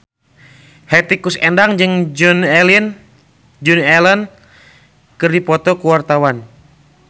Hetty Koes Endang jeung Joan Allen keur dipoto ku wartawan